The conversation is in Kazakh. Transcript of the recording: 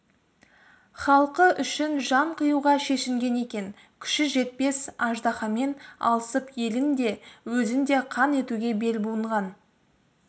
халқы үшін жан қиюға шешінген екен күші жетпес аждаһамен алысып елін де өзін де қан етуге бел буынған